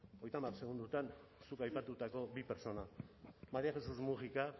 hogeita hamar segundotan zuk aipatutako bi pertsona maría jesús múgica